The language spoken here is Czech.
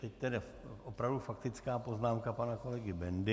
Teď tedy opravdu faktická poznámka pana kolegy Bendy.